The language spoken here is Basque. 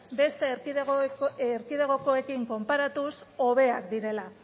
beste erkidegokoekin konparatuz hobeak direla